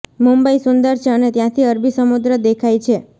મુંબઈ સુંદર છે અને ત્યાંથી અરબી સમુદ્ર દેખાય છે